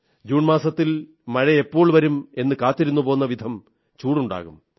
June മാസത്തിൽ മഴയെപ്പോൾ വരും എന്നു കാത്തിരുന്നുപോകുന്ന വിധം ചൂടുണ്ടാകും